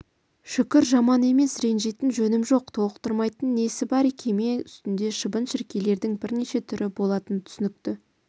шүкір жаман емес ренжитін жөнім жоқ толықтырмайтын несі бар кеме үстінде шыбын-шіркейлердің бірнеше түрі болатыны түсінікті